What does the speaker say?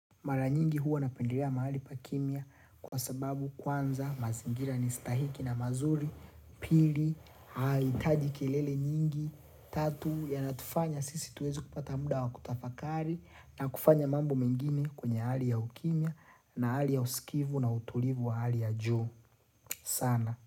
Mara nyingi huwa napendelea mahali pa kimya kwa sababu kwanza mazingira ni stahiki na mazuri, pili, haihitaji kelele nyingi, tatu yanatufanya sisi tuweze kupata muda wa kutafakari na kufanya mambo mengine kwenye hali ya ukimya na hali ya usikivu na utulivu wa hali ya juu. Sana.